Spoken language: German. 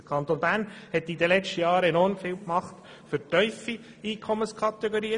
Der Kanton Bern hat in den letzten Jahren enorm viel für die tiefen Einkommensschichten getan.